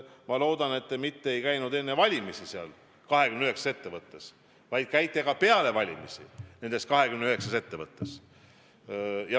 Ma loodan, et te ei käinud neis 29 ettevõttes mitte ainult enne valimisi, vaid olete seal käinud ka peale valimisi.